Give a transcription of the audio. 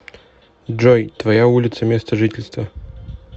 джой твоя улица места жительства